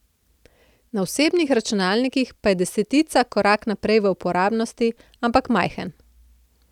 Na osebnih računalnikih pa je desetica korak naprej v uporabnosti, ampak majhen.